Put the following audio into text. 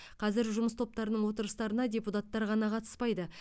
қазір жұмыс топтарының отырыстарына депутаттар ғана қатыспайды